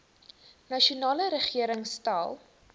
nasionale regering stel